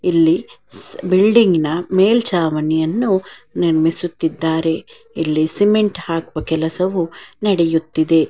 ಇಲ್ಲಿ ಬಿಲ್ಡಿಂಗ್ ಇನ ಮೇಲ್ಚಾವಣಿಯನ್ನು ನಿರ್ಮಿಸುತ್ತಿದ್ದಾರೆ ಇಲ್ಲಿ ಸಿಮೆಂಟ್ ಹಾಕುವ ಕೆಲಸವೂ ನಡೆಯುತ್ತಿದೆ.